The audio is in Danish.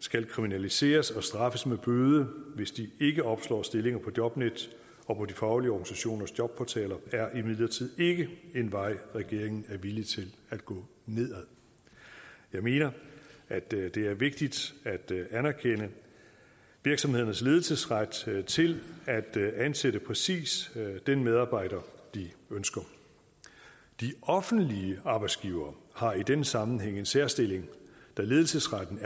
skal kriminaliseres og straffes med bøde hvis de ikke opslår stillinger på jobnet og på de faglige organisationers jobportaler er imidlertid ikke en vej regeringen er villig til at gå ned ad jeg mener at det det er vigtigt at anerkende virksomhedernes ledelsesret til til at ansætte præcis den medarbejder de ønsker de offentlige arbejdsgivere har i den sammenhæng en særstilling da ledelsesretten